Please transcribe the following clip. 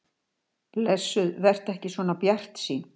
Blessuð vertu ekki svona bjartsýn.